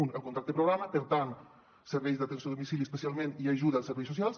un el contracte programa per tant serveis d’atenció a domicili especial·ment i ajuda als serveis socials